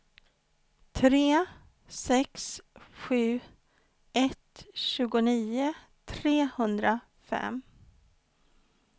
tre sex sju ett tjugonio trehundrafem